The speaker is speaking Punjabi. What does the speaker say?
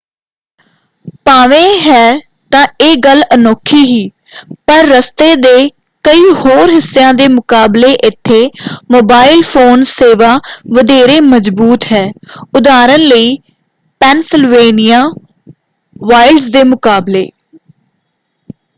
ਭਾਵੇਂ ਹੈ ਤਾਂ ਇਹ ਗੱਲ ਅਨੋਖੀ ਹੀ ਪਰ ਰਸਤੇ ਦੇ ਕਈ ਹੋਰ ਹਿੱਸਿਆਂ ਦੇ ਮੁਕਾਬਲੇ ਇੱਥੇ ਮੋਬਾਈਲ ਫ਼ੋਨ ਸੇਵਾ ਵਧੇਰੇ ਮਜ਼ਬੂਤ ​​ਹੈ ਉਦਾਹਰਨ ਲਈ ਪੈਨਸਿਲਵੇਨੀਆ ਵਾਈਲਡਜ਼ ਦੇ ਮੁਕਾਬਲੇ।